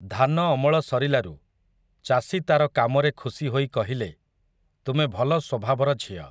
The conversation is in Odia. ଧାନ ଅମଳ ସରିଲାରୁ, ଚାଷୀ ତା'ର କାମରେ ଖୁସିହୋଇ କହିଲେ, ତୁମେ ଭଲ ସ୍ୱଭାବର ଝିଅ ।